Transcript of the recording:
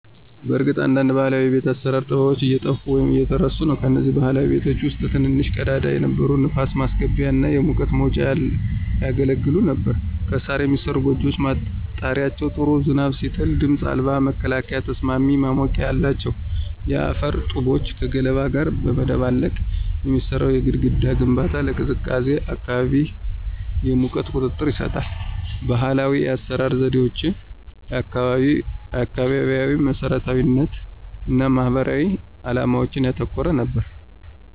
በእርግጥ አንዳንድ ባህላዊ የቤት አሰራር ጥበቦች እየጠፉ ወይም እየተረሱ ነው። ከነዚህም ባህላዊ ቤቶች ውስጥ ትንንሽ ቀዳዳዎች የነበሩ የንፋስ ማስገቢያ እና የሙቀት መውጫ ያገለግሉ ነበር። ከሣር የሚሠሩት ጎጆዎች ጣሪያዎች ጥሩ ዝናብ ሲጥል ድምፅ አልባ መከላከያና ተስማሚ ማሞቂያ አላቸው። የአፈር ጡቦችን ከገለባ ጋር በማደባለቅ የሚሠራው የግድግዳ ግንባታ ለቀዝቃዛ አካባቢ የሙቀት ቁጥጥር ይሰጣል። ባህላዊ የአሰራር ዘዴዎች አካባቢያዊ መሰረታዊነት እና ማህበራዊ ዓላማዎችን ያተኮረ ነበር።